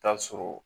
Taa sɔrɔ